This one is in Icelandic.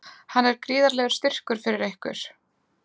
Hann er gríðarlegur styrkur fyrir ykkur?